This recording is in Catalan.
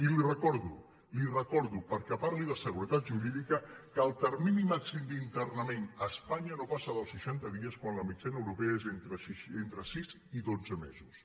i li recordo li recordo que perquè parli de seguretat jurídica que el termini màxim d’internament a espanya no passa dels seixan·ta dies quan la mitjana europea és entre sis i dotze me·sos